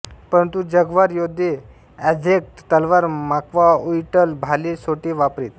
परंतु जाग्वार योद्धे अझ्टेक तलवार माक्वाहुइट्ल भाले सोटे वापरीत